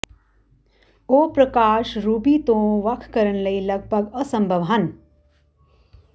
ਉਹ ਪ੍ਰਕਾਸ਼ ਰੂਬੀ ਤੋਂ ਵੱਖ ਕਰਨ ਲਈ ਲਗਭਗ ਅਸੰਭਵ ਹਨ